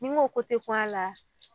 N'i ko ko te kun a la